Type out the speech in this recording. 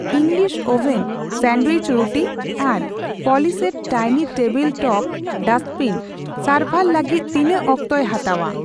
English oven sandwich ᱨᱩᱴᱤ ᱟᱨ polished dining table top dustbin ᱥᱟᱨᱵᱷᱟᱨ ᱞᱟᱹᱜᱤᱛ ᱛᱤᱱᱟᱹᱜ ᱚᱠᱛᱮᱭ ᱦᱟᱛᱟᱣᱟ ?